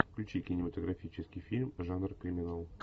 включи кинематографический фильм жанр криминал